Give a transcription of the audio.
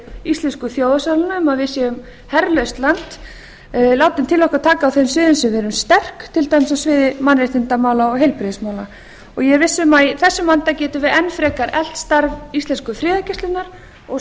íslensku þjóðarsálina um að við séum herlaust land látum til okkar taka á þeim sviðum sem við erum sterk til dæmis á sviði mannréttindamála og heilbrigðismála ég er viss um að í þessum anda getum við enn frekar eflt starf íslensku friðargæslunnar og